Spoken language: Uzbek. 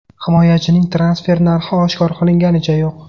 Himoyachining transfer narxi oshkor qilinganicha yo‘q.